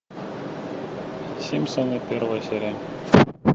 симпсоны первая серия